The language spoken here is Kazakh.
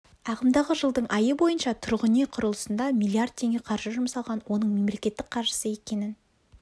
ағымдағы жылдың айы бойныша тұрғын үй құрылысына миллиард теңге қаржы жұмсалған оның мемлекеттің қаржысы екенін